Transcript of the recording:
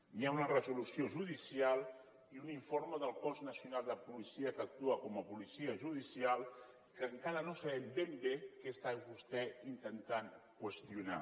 hi ha una resolució judicial i un informe del cos nacional de policia que actua com a policia judicial que encara no sabem ben bé què està vostè intentant qüestionar